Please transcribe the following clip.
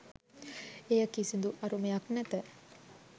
එහි කිසිදු අරුමයක් නැත